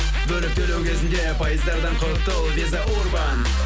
бөліп төлеу кезінде пайыздардан құтыл виза урбан